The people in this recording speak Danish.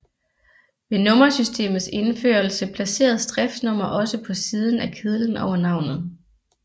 Ved nummersystemets indførelse placeres driftsnummer også på siden af kedlen over navnet